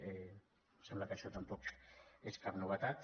em sembla que això tampoc és cap novetat